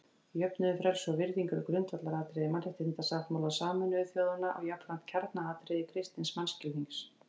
Jöfnuður, frelsi og virðing eru grundvallaratriði Mannréttindasáttmála Sameinuðu þjóðanna og jafnframt kjarnaatriði kristins mannskilnings.